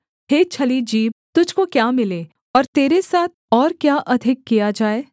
हे छली जीभ तुझको क्या मिले और तेरे साथ और क्या अधिक किया जाए